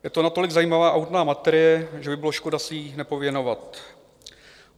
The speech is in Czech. Je to natolik zajímavá a hutná materie, že by byla škoda se jí nevěnovat: